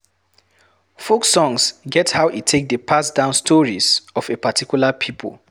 Folk songs get how e take dey pass down stories of a particular pipo